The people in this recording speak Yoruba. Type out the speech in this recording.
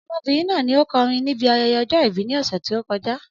Ọmọbìnrin náà ni o kọrin níbi ayẹyẹ ọjọ ìbí ní ọ̀sẹ̀ tí o kọjá